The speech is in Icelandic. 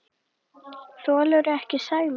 Þolirðu ekki Sæma?